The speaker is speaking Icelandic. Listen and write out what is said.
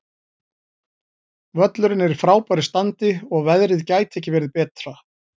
Völlurinn er í frábæru standi og veðrið gæti ekki verið betra.